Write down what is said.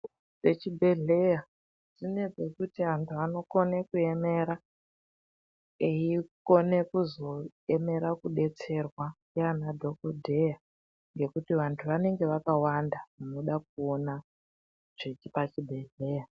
Pechibhedhleya zvine pekuti antu anokone kuemera, eikone kuzoemera kudetserwa ndiana dhokodheya ngekuti vantu vanenge vakawanda vanoda kuona zvepa chibhedhleya.